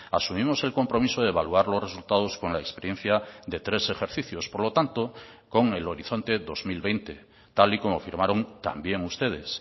asumimos el compromiso de evaluar los resultados con la experiencia de tres ejercicios por lo tanto con el horizonte dos mil veinte tal y como firmaron también ustedes